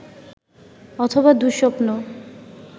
অথবা দু:স্বপ্ন